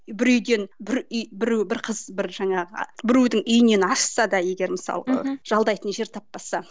бір үйден бір үй біреу бір қыз бір жаңағы біреудің үйінен ашса да егер мысалға жалдайтын жер таппаса